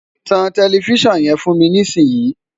tan tẹlifísàn yẹn fún mi nísìn yìí!